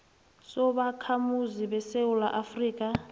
sobakhamuzi besewula afrika